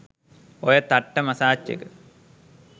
ඔය තට්ට මසාජ් එක